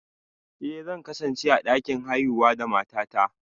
Eh, zan kasance a dakin haihuwa da matata